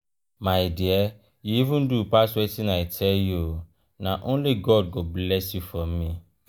my dear you even do pass wetin i tell you. na only god go bless you for me.